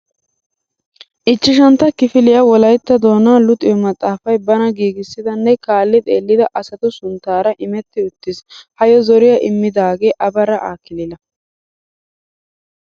Ichchashantta kifiliya wolayttatto doonaa luxiyo maxaafay bana giigissida nne kaalli xeellida asatu sunttaara imetti uttiis. Hayyo zoriya immidaagee Abarra Aakilila.